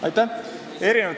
Aitäh!